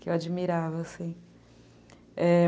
Que eu admirava, sim, é...